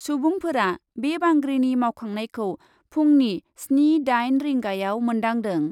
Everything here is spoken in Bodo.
सुबुंफोरा बे बांग्रिनि मावखांनायखौ फुंनि स्नि दाइन रिंगायाव मोन्दांदों ।